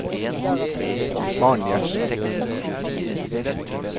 Maren Gjertsen